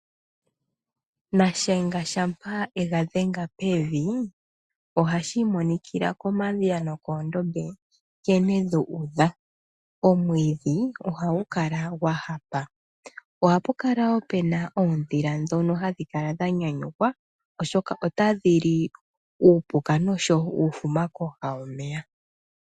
Nashenga shampa e ga dhenga pevi ohashi imonikila komadhiya nokoondombe nkene dhu udha, omwiidhi ohagu kala gwa hapa. Ohapu kala woo pena oondhila ndhono hadhi kala dha nyanyukwa oshoka otadhi li uupuka noshowo uufuma kooha dhomeya.